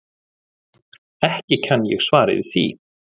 Ekki kann ég svar við því.